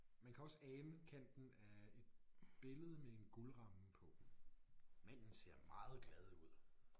Man kan også ane kanten af et billede med en guldramme på. Manden ser meget glad ud